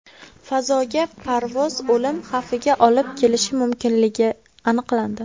Fazoga parvoz o‘lim xavfiga olib kelishi mumkinligi aniqlandi.